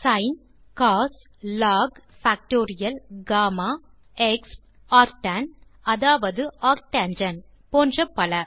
சின் cos log factorial gamma exp arctan அதாவது arctangent போன்ற பல